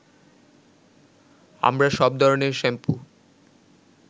আমরা সব ধরনের শ্যাম্পু